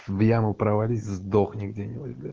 в яму провалился сдохни где